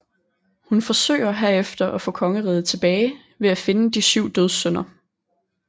Hun forsøger herefter at få kongeriget tilbage ved at finde De Syv Dødssynder